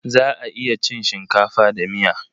Za a iya cin shinkafa da miya.